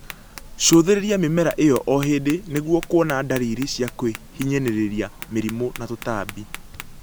Cũthĩrĩria mĩmera ĩyo o hĩndĩ nĩguo kuona dalili cia kwĩhinyanĩrĩria, mĩrimũ na tũtambi